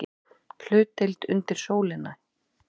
HLUTDEILD UNDIR SÓLINNI